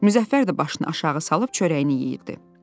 Müzəffər də başını aşağı salıb çörəyini yeyirdi.